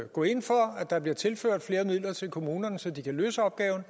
gå ind for at der bliver tilført flere midler til kommunerne så de kan løse opgaven